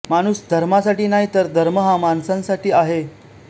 माणूस धर्मासाठी नाही तर धर्म हा माणसांसाठी आहे